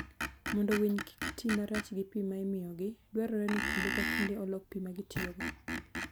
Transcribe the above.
Mondo winy kik ti marach gi pi ma imiyogi, dwarore ni kinde ka kinde olok pi ma gitiyogo.